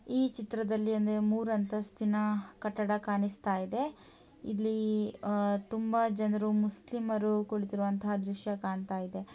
ಈ ಚಿತ್ರದಲ್ಲಿ ಒಂದು ಮೂರು ಅಂತಸ್ತಿನ ಕಟ್ಟಡ ಕಾಣಿಸುತ್ತಾ ಇದೆ. ಇಲ್ಲಿ ತುಂಬಾ ಜನರು ಮುಸ್ಲಿಮರು ಕುಳಿತಿರುವಂತ ದೃಶ್ಯ ಕಾಣತ್ತಾ ಇದೆ.